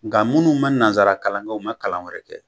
Nka munnu ma nanzara kalan kɛ, u ma kalan wɛrɛ kɛ